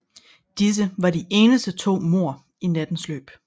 Disse var de eneste to mord i nattens løb